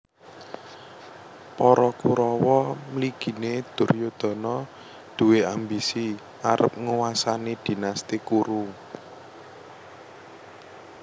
Para Kurawa mliginé Duryudana duwé ambisi arep nguwasani Dinasti Kuru